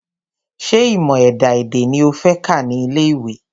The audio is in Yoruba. Ṣé ìmọ̀ ẹ̀dá-èdè ni o fẹ́ kà ní ilé ìwé?